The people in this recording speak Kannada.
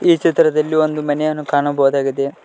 ಈ ಚಿತ್ರದಲ್ಲಿ ಒಂದು ಮನೆಯನ್ನು ಕಾಣಬಹುದಾಗಿದೆ.